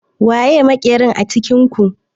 Waye makerin a cikin ku?